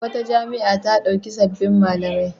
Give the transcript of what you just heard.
Wata jami'a ta ɗauki sabbin malamai